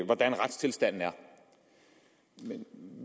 hvordan retstilstanden er men